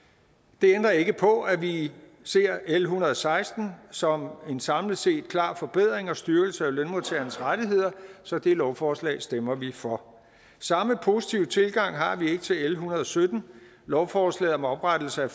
det ændrer ikke på at vi ser l en hundrede og seksten som en samlet set klar forbedring og styrkelse af lønmodtagernes rettigheder så det lovforslag stemmer vi for samme positive tilgang har vi ikke til l en hundrede og sytten lovforslaget om oprettelse af